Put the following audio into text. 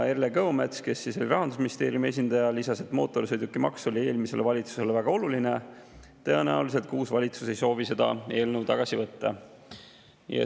Erle Kõomets, kes oli kohal Rahandusministeeriumi esindajana, lisas, et mootorsõidukimaks oli eelmisele valitsusele väga oluline ja tõenäoliselt ka uus valitsus ei soovi seda eelnõu tagasi võtta.